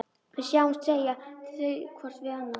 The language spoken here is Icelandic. Við sjáumst, segja þau hvort við annað.